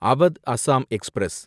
Awadh Assam express